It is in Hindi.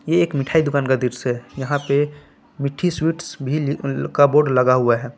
ये एक मिठाई दुकान का दृश्य है यहां पे मिट्ठी स्वीट्स भी का बोर्ड लगा हुआ है।